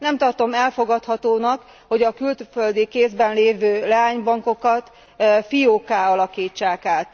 Nem tartom elfogadhatónak, hogy a külföldi kézben lévő leánybankokat fiókká alakítsák át.